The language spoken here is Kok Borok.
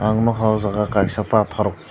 ang nogka o jaga kaisa pator.